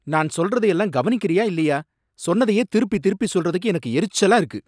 நான் சொல்றத எல்லாம் கவனிக்கிறியா இல்லையா? சொன்னதையே திருப்பி திருப்பி சொல்றதுக்கு எனக்கு எரிச்சலா இருக்கு.